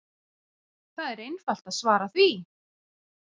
Það er einfalt að svara því!